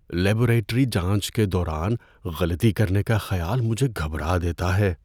Laboratory جانچ کے دوران غلطی کرنے کا خیال مجھے گھبرا دیتا ہے۔